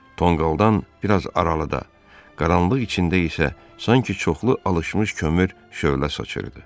Tonqaldan biraz aralıda, qaranlıq içində isə sanki çoxlu alışmış kömür şölələr saçırdı.